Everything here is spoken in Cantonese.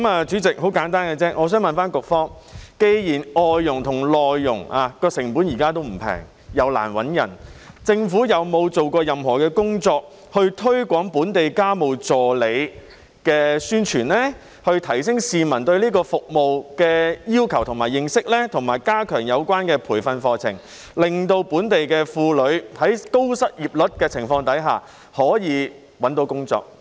主席，我想問局方，既然外傭和內傭的成本現時並不便宜，亦難以聘請，政府有否做過任何工作推廣本地家務助理，以提升市民對這項服務的需求及認識，以及加強有關培訓課程，令本地婦女在高失業率的情況下可以找到工作？